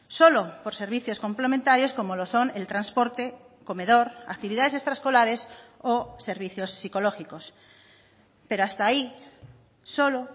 solo por servicios complementarios como lo son el transporte comedor actividades extraescolares o servicios psicológicos pero hasta ahí solo